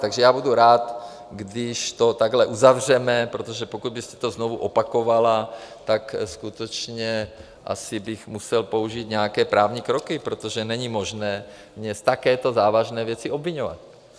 Takže já budu rád, když to takhle uzavřeme, protože pokud byste to znovu opakovala, tak skutečně asi bych musel použít nějaké právní kroky, protože není možné mě z takovéto závažné věci obviňovat.